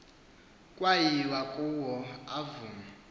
kwayiwa kuyo yavuma